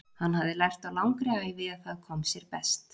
Hann hafði lært á langri ævi að það kom sér best.